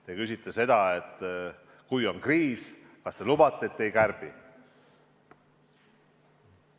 Te küsite seda, et kui on kriis, kas te lubate, et te ei kärbi.